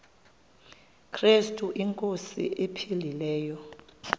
krestu inkosi ephilileyo